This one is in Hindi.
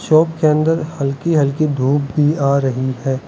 शॉप के अन्दर हल्की हल्की धूप भी आ रही है।